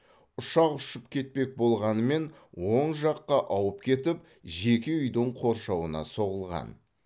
ұшақ ұшып кетпек болғанымен оң жаққа ауып кетіп жеке үйдің қоршауына соғылған